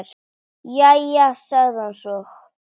Jæja, sagði hann svo.